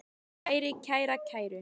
kæri, kæra, kæru